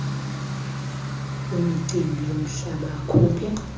wemicimbi yomhlaba akhuphe